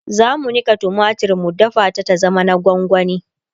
zamu Nika tumatir mu dafa ta ta zama na gwangwani